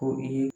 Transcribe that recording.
Ko i ye